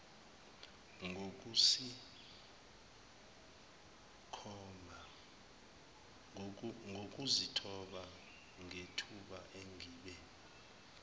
ngokuzithoba ngethuba engibe